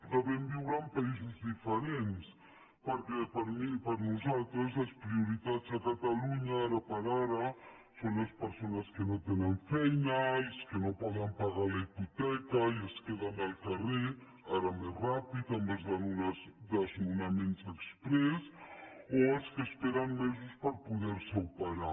devem viure en països diferents perquè per nosaltres les prioritats a catalunya ara per ara són les persones que no tenen feina els que no poden pagar la hipoteca i es queden al carrer ara més ràpidament amb els desnonaments exprés o els que esperen mesos per poder se operar